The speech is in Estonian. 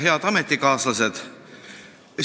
Head ametikaaslased!